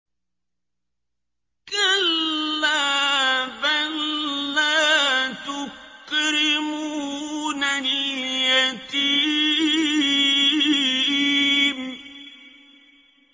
كَلَّا ۖ بَل لَّا تُكْرِمُونَ الْيَتِيمَ